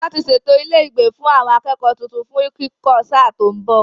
Wọ́n ti ṣètò ilé ìgbé àwọn akẹ́kọ̀ọ́ tuntun fún kíkọ́ sáà tó ń bọ̀.